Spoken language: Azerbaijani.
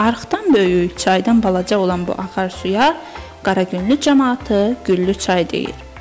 Arıxdan böyük, çaydan balaca olan bu axar suya Qaragüllü camaatı Güllü çay deyir.